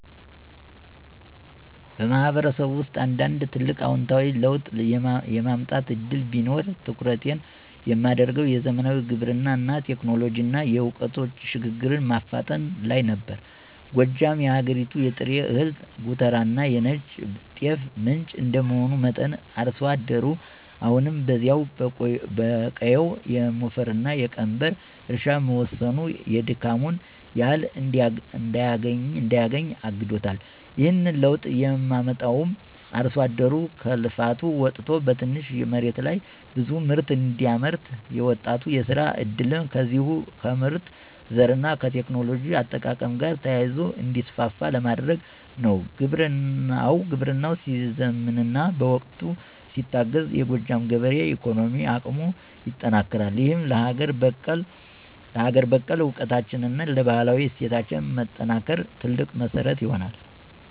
ማህበረሰብ ውስጥ አንድ ትልቅ አዎንታዊ ለውጥ የማምጣት ዕድል ቢኖረኝ፣ ትኩረቴን የማደርገው "የዘመናዊ ግብርና ቴክኖሎጂንና የዕውቀት ሽግግርን" ማፋጠን ላይ ነበር። ጎጃም የሀገሪቱ የጥሬ እህል ጎተራና የነጭ ጤፍ ምንጭ እንደመሆኑ መጠን፣ አርሶ አደሩ አሁንም በዚያው በቆየው የሞፈርና የቀንበር እርሻ መወሰኑ የድካሙን ያህል እንዳያገኝ አግዶታል። ይህንን ለውጥ የማመጣውም አርሶ አደሩ ከልፋት ወጥቶ በትንሽ መሬት ላይ ብዙ ምርት እንዲያመርት፣ የወጣቱ የሥራ ዕድልም ከዚሁ ከምርጥ ዘርና ከቴክኖሎጂ አጠቃቀም ጋር ተያይዞ እንዲሰፋ ለማድረግ ነው። ግብርናው ሲዘምንና በዕውቀት ሲታገዝ፣ የጎጃም ገበሬ የኢኮኖሚ አቅሙ ይጠነክራል፤ ይህም ለሀገር በቀል ዕውቀታችንና ለባህላዊ እሴቶቻችን መጠናከር ትልቅ መሠረት ይሆናል።